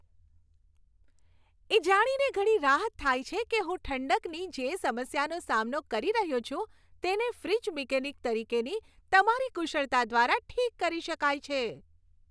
એ જાણીને ઘણી રાહત થાય છે કે હું ઠંડકની જે સમસ્યાનો સામનો કરી રહ્યો છું, તેને ફ્રિજ મિકેનિક તરીકેની તમારી કુશળતા દ્વારા ઠીક કરી શકાય છે.